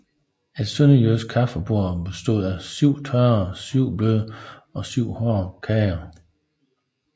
Et sønderjysk kaffebord bestod af syv tørre og syv bløde og syv hårde kager